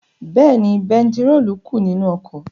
Bẹ́ẹ̀ni, bẹntiróòlù kù nínú ọkọ̀.